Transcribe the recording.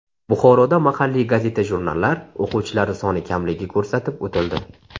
Buxoroda mahalliy gazeta-jurnallar o‘quvchilari soni kamligi ko‘rsatib o‘tildi.